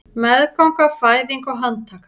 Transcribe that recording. Meðganga, fæðing og handtaka